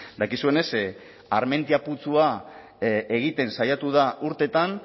dakizuenez armentia putzua egiten saiatu da urteetan